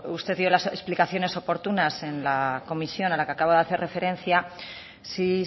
usted dio las explicaciones oportunas en la comisión a la que acabo de hacer referencia sí